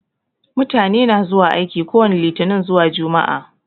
Mutane na zuwa aiki kowani litinin zuwa jumaa